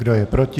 Kdo je proti?